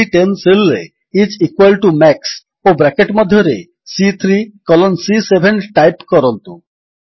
ସି10 cell ରେ is equal to max ଓ bracket ମଧ୍ୟରେ ସି3 କଲନ୍ ସି7 ଟାଇପ୍ କରନ୍ତୁ